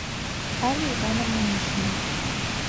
алле ивановне мишиной